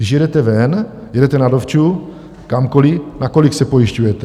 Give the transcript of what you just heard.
Když jedete ven, jedete na dovču kamkoli, na kolik se pojišťujete?